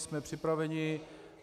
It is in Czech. Jsme připraveni.